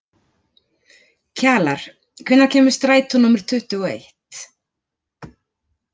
Kjalar, hvenær kemur strætó númer tuttugu og eitt?